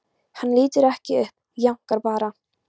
Hann lítur ekki upp, jánkar bara.